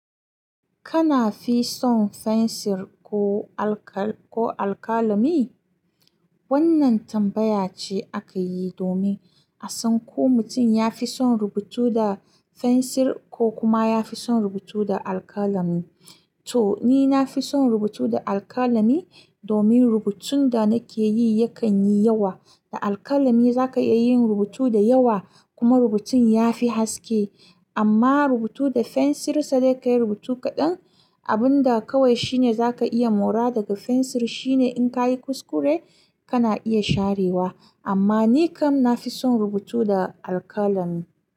Kana fi son fensir ko alkala-alkalami? Wannan tambaya ce aka yi domin a san ko mutum ya fi son rubutu da fensir ko kuma ya fi son rubutu da alkalami. To, ni na fi son rubutu da alkalami domin rubutun da nake yi yakan yi yawa. Da alkalami za ka iya yin rubutu da yawa kuma rubutun ya fi haske. Amma rubutu da fensir, sai dai kayi rubutu kaɗan. Abun da kawai shine za ka iya mora daga fensir shine in ka yi kuskure, kana iya sharewa. Amma ni kam na fi son rubutu da alkalami.